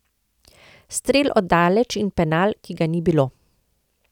Strel od daleč in penal, ki ga ni bilo.